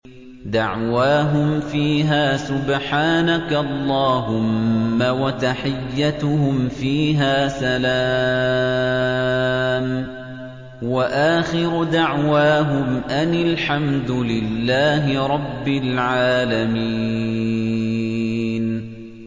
دَعْوَاهُمْ فِيهَا سُبْحَانَكَ اللَّهُمَّ وَتَحِيَّتُهُمْ فِيهَا سَلَامٌ ۚ وَآخِرُ دَعْوَاهُمْ أَنِ الْحَمْدُ لِلَّهِ رَبِّ الْعَالَمِينَ